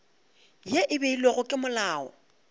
ye e beilwego ke molao